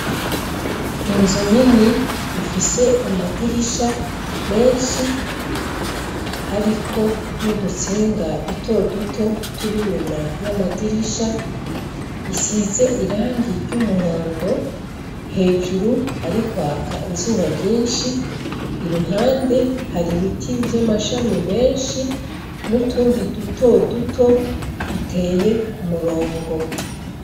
Inzu nini ifise amadirisha menshi, ariko n'udutsinga dutoduto turi inyuma y'amadirisha, isize irangi ry'umuhondo, hejuru hari kwaka izuba ryinshi, iruhande hari ibiti vy'amashami menshi n'utundi dutoduto, duteye kumurongo.